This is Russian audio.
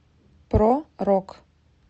про рок